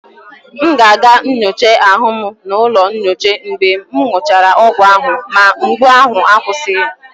M ga-aga nyocha ahụ m n'ụlọ nyocha mgbe m gụchara ọgwụ ahụ ma mgbu ahụ akwụsịghị.